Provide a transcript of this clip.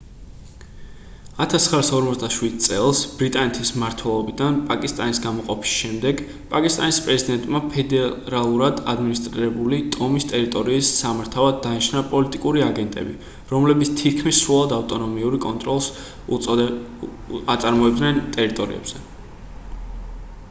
1947 წელს ბრიტანეთის მმართველობიდან პაკისტანის გამოყოფის შემდეგ პაკისტანის პრეზიდენტმა ფედერალურად ადმინისტრირებული ტომის ტერიტორიის სამართავად დანიშნა პოლიტიკური აგენტები რომლებიც თითქმის სრულად ავტონომიური კონტროლს აწარმოებდნენ ტერიტორიებზე